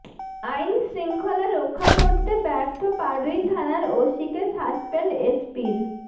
আইনশৃঙ্খলা রক্ষা করতে ব্যর্থ পাড়ুই থানার ওসিকে সাসপেন্ড এসপির